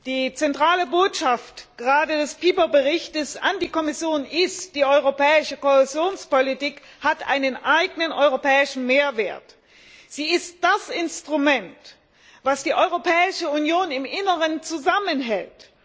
Die zentrale Botschaft, gerade des Berichts Pieper an die Kommission ist, dass die Europäische Kohäsionspolitik einen eigenen europäischen Mehrwert hat. Sie ist das Instrument, das die Europäische Union im Inneren zusammenhält.